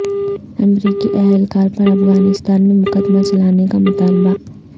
امریکی اہلکار پر افغانستان میں مقدمہ چلانے کا مطالبہ